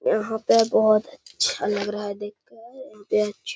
यहाँ पे बहोत अच्छा लग रहा है देखकर बेंच --